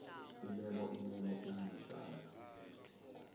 imemo imemo incwajana